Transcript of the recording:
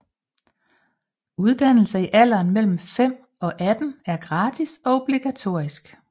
Uddannelse i alderen mellem 5 og 18 er gratis og obligatorisk